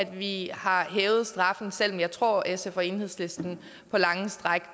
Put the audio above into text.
vi har hævet straffen selv om jeg tror at sf og enhedslisten på lange stræk